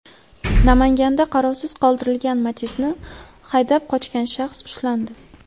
Namanganda qarovsiz qoldirilgan Matiz’ni haydab qochgan shaxs ushlandi.